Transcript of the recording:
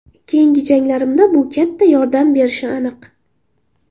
Keyingi janglarimda bu katta yordam berishi aniq.